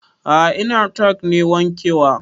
A'a trakta nake wanke wa